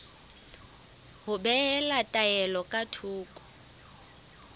ho behela taelo ka thoko